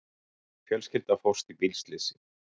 Fjölskylda fórst í bílslysi